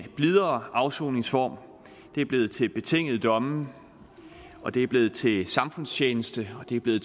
blidere afsoningsform det er blevet til betingede domme og det er blevet til samfundstjeneste og det er blevet